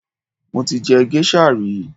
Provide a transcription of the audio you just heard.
Mo ti jẹ géṣà rí